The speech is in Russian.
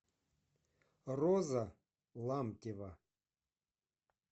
роза ламтева